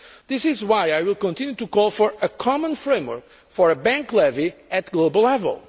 This is why I will continue to call for a common framework for a bank levy at global level.